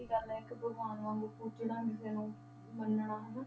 ਉਹੀ ਗੱਲ ਹੈ ਇੱਕ ਭਗਵਾਨ ਵਾਂਗੂ ਪੂਜਣਾ ਕਿਸੇ ਨੂੰ ਮੰਨਣਾ ਹਨਾ,